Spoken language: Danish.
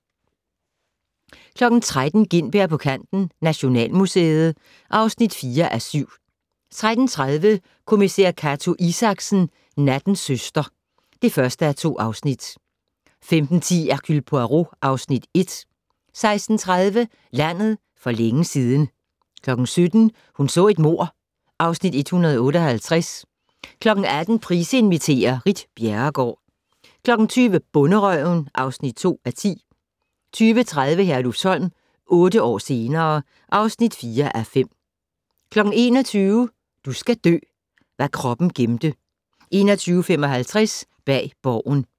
13:00: Gintberg på kanten - Nationalmuseet (4:7) 13:30: Kommissær Cato Isaksen: Nattens søster (1:2) 15:10: Hercule Poirot (Afs. 1) 16:30: Landet for længe siden 17:00: Hun så et mord (Afs. 158) 18:00: Price inviterer - Ritt Bjerregaard 20:00: Bonderøven (2:10) 20:30: Herlufsholm - otte år senere ... (4:5) 21:00: Du skal dø: Hvad kroppen gemte 21:55: Bag Borgen